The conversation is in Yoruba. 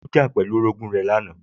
Ó jà pẹ̀lú orogún ẹ̀ lánàá